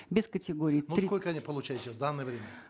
без категории три ну сколько они получают сейчас в данное время